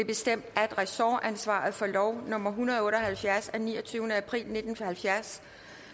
bestemt at ressortansvaret for lov nummer en hundrede og otte og halvfjerds af niogtyvende april nitten halvfjerds